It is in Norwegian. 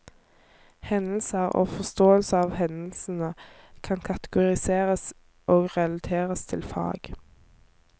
Hendelser og forståelsen av hendelsene kan kategoriseres og relateres til fag.